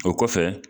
O kɔfɛ